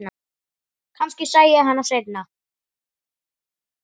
Kannski sæi ég hann seinna.